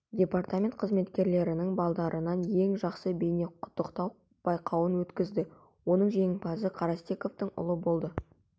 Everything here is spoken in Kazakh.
департамент қызметкерлердің балаларынан ең жақсы бейнеқұттықтау байқауын өткізді оның жеңімпазы карастековтың ұлы болды